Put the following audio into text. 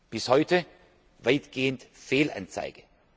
folgen. Bis heute weitgehend Fehlanzeige.